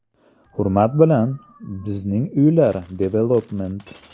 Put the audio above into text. Hurmat bilan, Bizning Uylar Development.